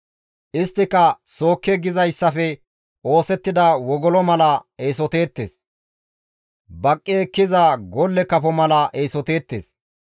Isttika sookke gizayssafe oosettida wogolo mala eesoteettes; baqqi ekkiza golle kafo mala eesoteettes.